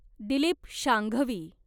Dilip Sanghvi